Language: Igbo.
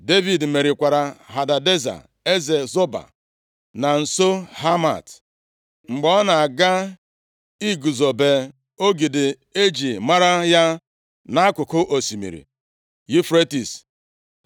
Devid merikwara Hadadeza eze Zoba, na nso Hamat, mgbe ọ na-aga iguzobe ogidi eji mara ya nʼakụkụ osimiri Yufretis.